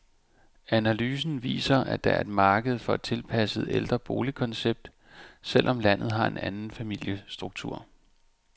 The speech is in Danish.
Analysen viser, at der er et marked for et tilpasset ældreboligkoncept, selv om landet har en anden familiestruktur.